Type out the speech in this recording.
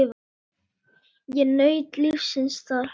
Ég naut lífsins þar.